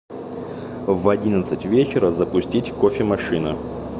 в одиннадцать вечера запустить кофемашина